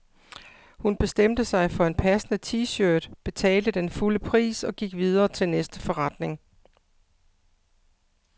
Hun bestemte sig for en passende t-shirt, betalte den fulde pris og gik videre til næste forretning.